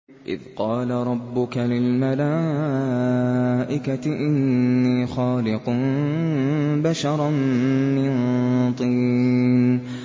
إِذْ قَالَ رَبُّكَ لِلْمَلَائِكَةِ إِنِّي خَالِقٌ بَشَرًا مِّن طِينٍ